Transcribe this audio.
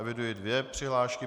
Eviduji dvě přihlášky.